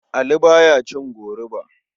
Ali ba ya cin goruba.